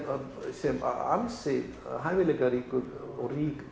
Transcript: sem ansi hæfileikaríkur og rík